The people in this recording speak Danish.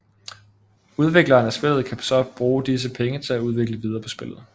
Udvikleren af spillet kan så bruge disse penge til at udvikle videre på spillet